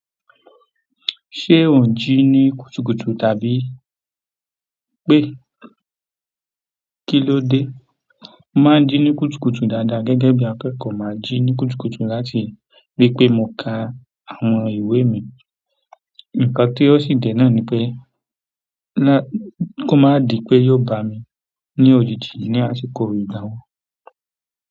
Ṣé ò ń ji ní kùtùkùtù tàbí pé kíló dé? Mo maa n ji ni kùtùkùtù dáadáa gẹ́gẹ́ bí akẹkọ ma ji ni kùtùkùtù láti ripe mo ka àwọn ìwé mi. Ǹkan tí ó sì dènà ni pé kó má di pé yóò bà mí ní òjìji ní àsìkò ìdánwò.